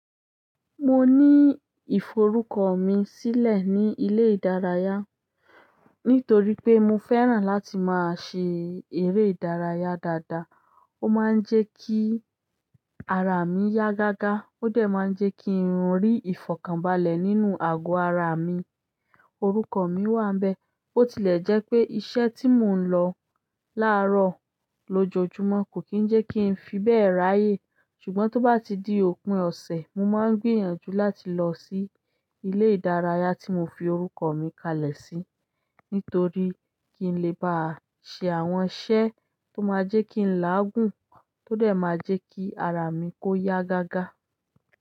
Mo ní ìforúkọ mi sílẹ̀ ní ilé ìdárayá, nítorí pé mo fẹ́ràn láti máa ṣe eré ìdárayá dáadáa. Ó máa ń jẹ́ kí ara mi yá gágá, ó dẹ̀ má ń jẹ́ kí ń rí ìfọ̀kànbalẹ̀ nínú àgọ́ ara mi. Orúkọ mi wà n bẹ, ó tilẹ̀ jẹ́ pé iṣẹ́ tí mò ń lọ láàárọ̀ lójoojúmọ́ kò kí ń jẹ́ kí ń fi bẹ́ẹ̀ ráyè. Ṣùgbọ́n tó bá ti di òpin ọ̀sẹ̀, mo máa ń gbìyànjú láti lọ sí ilé ìdárayá tí mo fi orúkọ mi kalẹ̀ sí, nítorí kí n lè bá ṣe àwọn iṣẹ́ tó máa jẹ́ kí ń láàgùn, tó dẹ̀ má jẹ́ kí ara mi kó yá gágá.